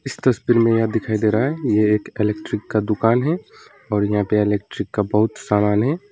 इस तस्वीर में यह दिखाई दे रहा है यह एक एलेक्ट्रिक का दुकान है और यहाँ पर एलेक्ट्रिक का बहुत सामान है।